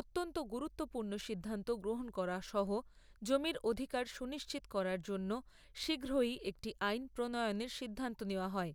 অত্যন্ত গুরুত্বপূর্ণ সিদ্ধান্ত গ্রহণ করা সহ জমির অধিকার সুনিশ্চিত করার জন্য শীঘ্রই একটি আইন প্রনয়নের সিদ্ধান্ত নেওয়া হয়।